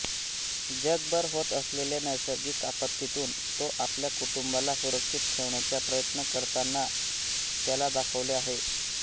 जगभर होत असलेल्या नैसर्गिक आपत्तीतून तो आपल्या कुटुंबाला सुरक्षित ठेवण्याचा प्रयत्न करताना त्याला दाखवले आहे